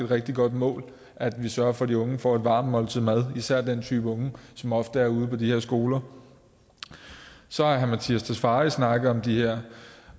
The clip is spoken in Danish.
rigtig godt mål at vi sørger for at de unge får et varmt måltid mad især den type unge som ofte er ude på de her skoler så har herre mattias tesfaye snakket om de her